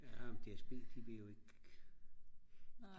ja men dsb de vil jo ikke